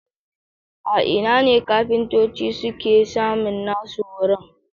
A ina ne kafintoci suke samun nasu horon?